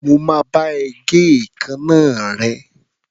Mo máa bá ẹ gé èékánná rẹ̀.